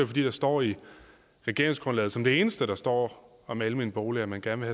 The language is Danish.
fordi der står i regeringsgrundlaget som det eneste der står om almene boliger at man gerne